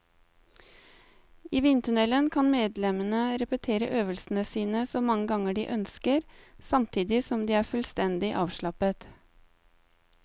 I vindtunnelen kan medlemmene repetere øvelsene sine så mange ganger de ønsker, samtidig som de er fullstendig avslappet.